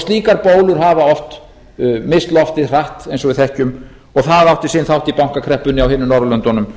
slíkar bólur hafa oft misst loftið hratt eins og við þekkjum og það átti sinn þátt í bankakreppunni á hinum norðurlöndunum